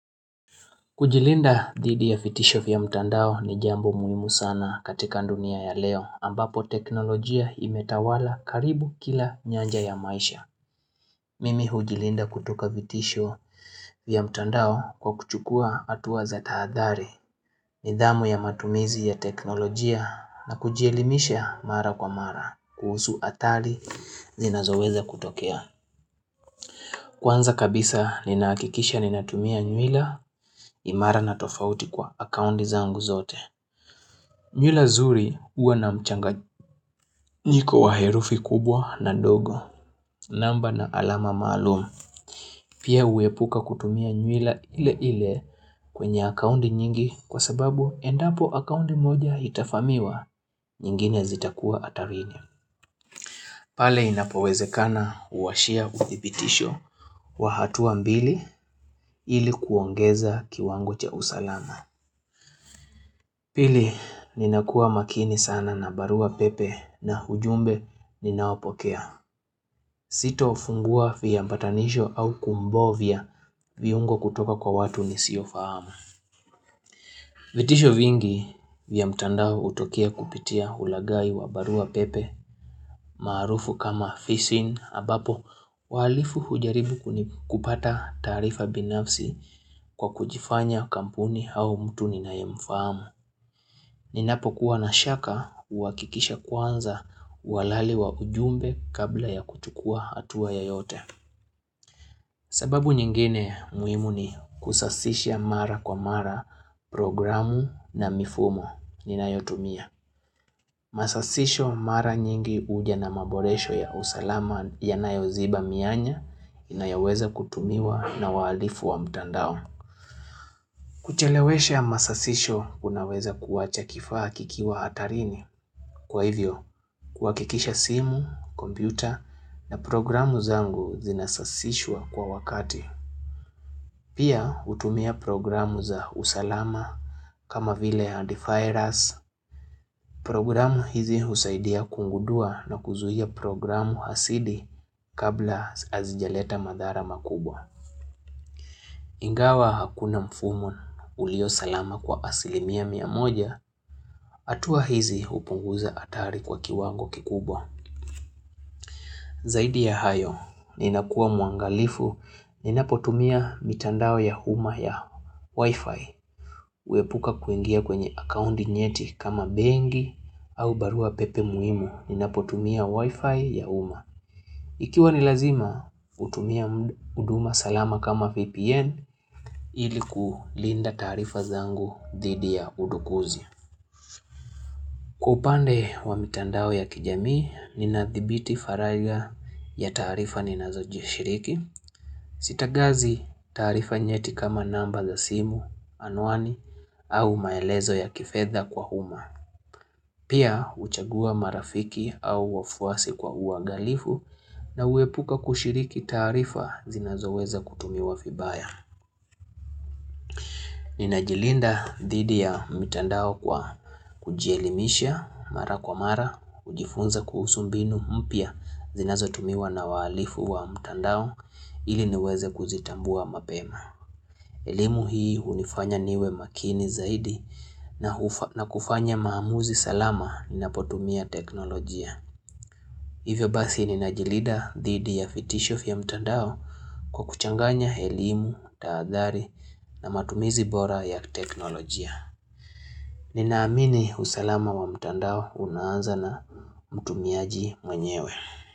Kujilinda dhidi ya vitisho vya mtandao ni jambo muhimu sana katika dunia ya leo ambapo teknolojia imetawala karibu kila nyanja ya maisha. Mimi hujilinda kutoka vitisho vya mtandao kwa kuchukua hatua za tahadhali nidhamu ya matumizi ya teknolojia na kujielimisha mara kwa mara kuhusu athari zinazoweza kutokea. Kwanza kabisa ninahakikisha ninatumia nywila imara na tofauti kwa akauti zangu zote. Nywila nzuri huwa na mchanganyiko wa herufi kubwa na ndogo. Namba na alama maalumu. Pia huepuka kutumia nywila ile ile kwenye akaunti nyingi kwa sababu endapo akaunti moja itavamiwa nyingine zitakuwa hatarini. Pale inapowezekana uwashia uthibitisho wa hatua mbili ilikuongeza kiwango cha usalama. Pili, ninakuwa makini sana na barua pepe na ujumbe ninaopokea. Sitofungua viambatanisho au kumbovya viungo kutoka kwa watu nisiofahamu. Vitisho vingi vya mtandao hutokea kupitia ulaghai wa barua pepe maarufu kama phishing ambapo wahalifu ujaribu kuni kupata taarifa binafsi kwa kujifanya kampuni hau mtu ninayemfamu. Ninapokuwa na shaka huhakikisha kwanza uhalali wa ujumbe kabla ya kuchukua hatuwa yeyote. Sababu nyingine muhimu ni kusasisha mara kwa mara programu na mifumo ninayotumia. Masasisho mara nyingi huja na maboresho ya usalama yanayoziba mianya inayaweza kutumiwa na wahalifu wa mtandao. Kuchelewesha masasisho kunaweza kuwacha kifaa kikiwa hatarini. Kwa hivyo, kuhakikisha simu, kompyuta na programu zangu zinasasishwa kwa wakati. Pia hutumia programu za usalama kama vile ya antivirus. Programu hizi husaidia kugudua na kuzuia programu hasidi kabla hazijaleta madhara makubwa. Ingawa hakuna mfumo ulio salama kwa asilimia miamoja, hatuwa hizi hupunguza hatari kwa kiwango kikubwa. Zaidi ya hayo, ninakua mwangalifu, ninapotumia mitandao ya uma ya Wi-Fi. Huepuka kuingia kwenye akaunti nyeti kama bengi au barua pepe muhimu, ninapotumia Wi-Fi ya uma. Ikiwa nilazima, hutumia huduma salama kama VPN ilikulinda taarifa zangu dhidi ya udukuzi. Kwa upande wa mitandao ya kijamii, ninadhibiti faragha ya taarifa ninazojishiriki. Sitagazi taarifa nyeti kama namba za simu, anuani, au maelezo ya kifedha kwa uma. Pia huchagua marafiki au wafuasi kwa uangalifu na huepuka kushiriki taarifa zinazoweza kutumiwa vibaya. Ninajilinda dhidi ya mtandao kwa kujielimisha mara kwa mara, kujifunza kuhusu mbinu mpya zinazotumiwa na wahalifu wa mtandao ili niweze kuzitambua mapema. Elimu hii hunifanya niwe makini zaidi na kufanya maamuzi salama ninapotumia teknolojia. Hivyo basi ninajilida dhidi ya vitisho vya mtandao kwa kuchanganya elimu, tahadhari na matumizi bora ya teknolojia. Ninaamini usalama wa mtandao unaanza na mtumiaji mwenyewe.